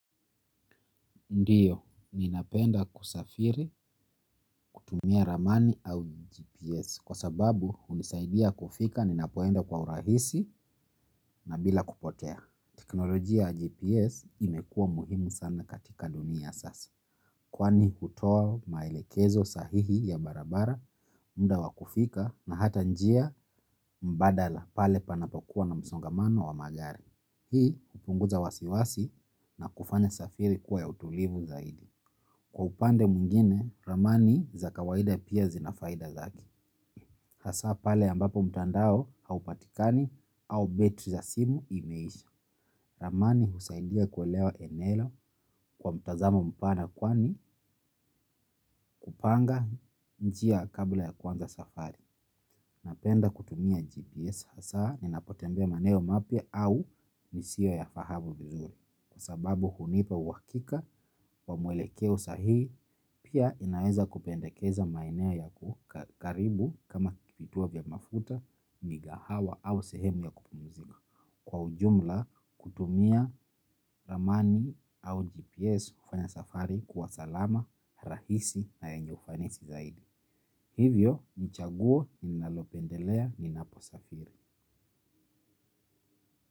Ndiyo ninapenda kusafiri kutumia ramani au GPS kwa sababu hunisaidia kufika ninapoenda kwa urahisi na bila kupotea. Teknolojia ya GPS imekua muhimu sana katika dunia ya sasa. Kwani hutoa maelekezo sahihi ya barabara, mda wa kufika na hata njia mbadala pale panapokuwa na msongamano wa magari. Hii hupunguza wasiwasi na kufanya safiri kuwa ya utulivu zaidi. Kwa upande mwingine, ramani za kawaida pia zinafaida zake. Hasa pale ambapo mtandao haupatikani au betri za simu imeisha. Ramani husaidia kuelewa eneo kwa mtazamo mpana kwani hupanga njia kabla ya kuanza safari. Napenda kutumia GPS hasa ninapotembea maeneo mapya au nisiyo yafahamu vizuri kwa sababu hunipa uwakika wa mwelekeo sahihi pia inaweza kupendekeza maeneo ya kukaribu kama vituo vya mafuta, migahawa au sehemu ya kupumzika. Kwa ujumla kutumia ramani au GPS ufanya safari kuwa salama rahisi na yenye ufanisi zaidi. Hivyo, nichaguo ninalopendelea ninaposafiri.